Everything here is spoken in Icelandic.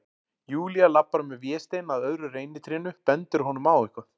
Júlía labbar með Véstein að öðru reynitrénu, bendir honum á eitthvað.